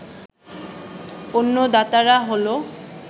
অন্য দাতারা হলো